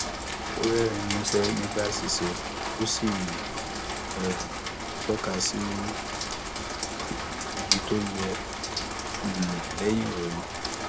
ó ń rerin músẹ nígbà àṣìṣe ó sì ń um tọka sí ibi tó yẹ um lẹyìn ìròyìn